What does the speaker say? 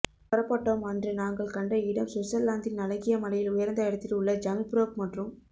புறப்பட்டோம் அன்று நாங்கள் கண்ட இடம் சுவிட்சர்லாந்தின் அழகிய மலையில் உயர்ந்த இடத்தில் உள்ள ஜங்க்ஃபிரோக் மற்றும்